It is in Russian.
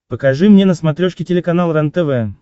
покажи мне на смотрешке телеканал рентв